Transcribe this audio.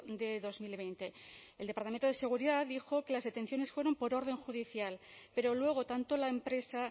de dos mil veinte el departamento de seguridad dijo que las detenciones fueron por orden judicial pero luego tanto la empresa